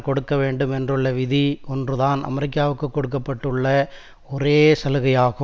கொடுக்கவேண்டும் என்றுள்ள விதி ஒன்றுதான் அமெரிக்காவிற்கு கொடுக்க பட்டுள்ள ஒரே சலுகையாகும்